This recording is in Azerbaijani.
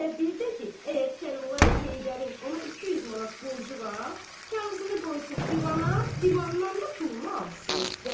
Və bir də ki, əgər Kərbəlayı Heydərin ona 200 manat borcu var, kağızını qoysun divana, divandan da pulunu alsın.